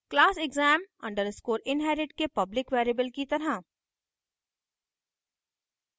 class exam _ inherit के public variable की तरह